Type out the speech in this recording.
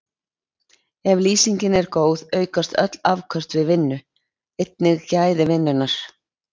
Ef lýsingin er góð aukast öll afköst við vinnu, einnig gæði vinnunnar.